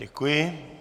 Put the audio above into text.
Děkuji.